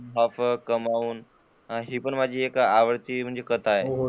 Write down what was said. कमावून हि माझी आवडती कथा आहे.